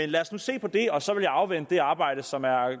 lad os nu se på det og så vil jeg afvente det arbejde som er